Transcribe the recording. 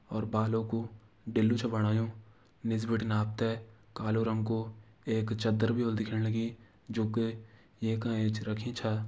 और बालों कु डिल्लू छ बणायुं। निस बटिन आपते कालो रंग को एक चद्दर बि ओल दिखेण लगीं जु के ये का एंच रखी छ।